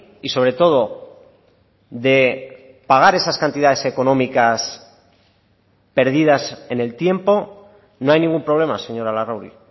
y sobre todo de pagar esas cantidades económicas perdidas en el tiempo no hay ningún problema señora larrauri